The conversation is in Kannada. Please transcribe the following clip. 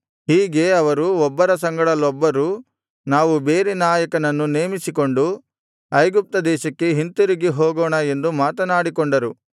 ಹೀಗೆ ಅವರು ಒಬ್ಬರ ಸಂಗಡಲೊಬ್ಬರು ನಾವು ಬೇರೆ ನಾಯಕನನ್ನು ನೇಮಿಸಿಕೊಂಡು ಐಗುಪ್ತ ದೇಶಕ್ಕೆ ಹಿಂತಿರುಗಿ ಹೋಗೋಣ ಎಂದು ಮಾತನಾಡಿಕೊಂಡರು